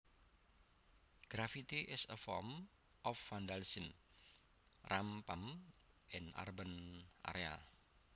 Graffiti is a form of vandalism rampant in urban areas